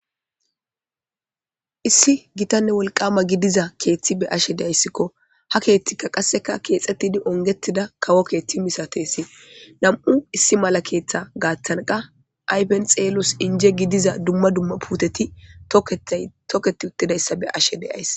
Issi gitanne wolqama gidiza keethti be ashe deayssikko ha keethtikka qasseka keexxettidi ongetida kawo keethti misatesi nam'u issi mala keeththa gaaththanqa aypen xeelos inje gidiza dumma dumma puteti tokketi uttidayssa be ashe deyays.